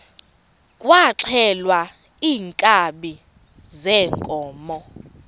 kwaxhelwa iinkabi zeenkomo